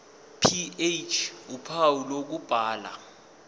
ph uphawu lokubhala